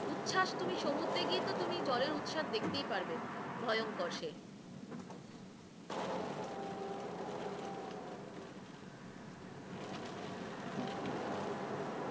উচ্ছাস তুমি সমুদ্রে গিয়ে তো তুমি জলের উচ্ছাস দেখতেই পারবে, ভয়ংকর সে,